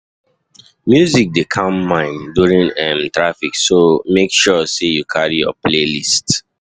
Music dey calm mind during during um traffic, so make sure say you carry your playlist.